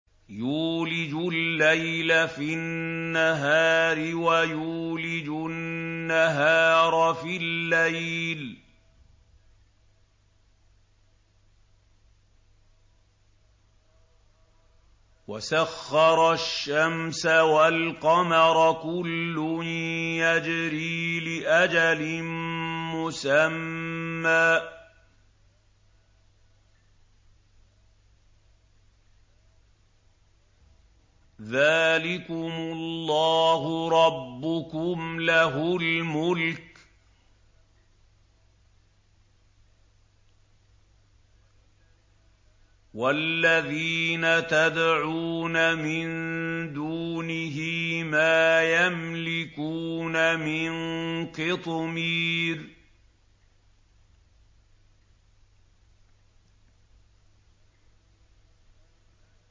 يُولِجُ اللَّيْلَ فِي النَّهَارِ وَيُولِجُ النَّهَارَ فِي اللَّيْلِ وَسَخَّرَ الشَّمْسَ وَالْقَمَرَ كُلٌّ يَجْرِي لِأَجَلٍ مُّسَمًّى ۚ ذَٰلِكُمُ اللَّهُ رَبُّكُمْ لَهُ الْمُلْكُ ۚ وَالَّذِينَ تَدْعُونَ مِن دُونِهِ مَا يَمْلِكُونَ مِن قِطْمِيرٍ